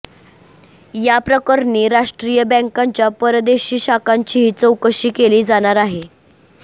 याप्रकरणी राष्ट्रीय बँकांच्या परदेशी शाखांचीही चौकशी केली जाणार आहे